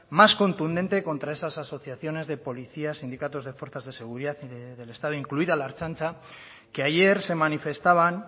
más contundente contra esas asociaciones de policías sindicatos de fuerzas de seguridad y del estado incluida la ertzaintza que ayer se manifestaban